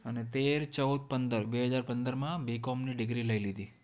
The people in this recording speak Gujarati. અને તેર, ચૌદ, પંદર, બે હજાર પંદરમાં BCOM ની degree લઈ લીધી.